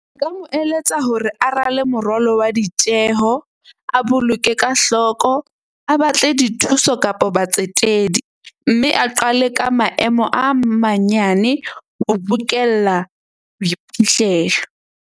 Nka mo eletsa hore a rale moralo wa ditjeho. A boloke ka hloko, a batle dithuso kapa batsetedi. Mme a qale ka maemo a manyane ho bokella boiphihlelo.